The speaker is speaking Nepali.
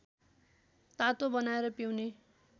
तातो बनाएर पिउने